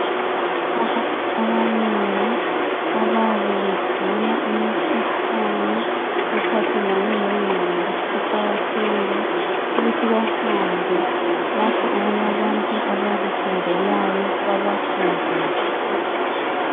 Abantu abanengi ababebegula umkhuhlane ephathelane le ngqodo. Kuqakathekile ukuthi behambe lapho okulabantu abakufundelayo babafundise.